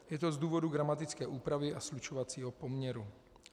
Je to z důvodu gramatické úpravy a slučovacího poměru.